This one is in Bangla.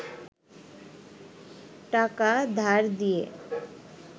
টাকা ধার দিয়ে